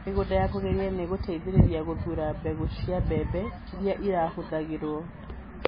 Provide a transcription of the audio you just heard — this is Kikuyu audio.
Mĩgũnda ya kũgereria nĩ ĩgũteithĩrĩria gũthuura mbegũ cia mbembe iria ĩrĩhũthagĩrwo.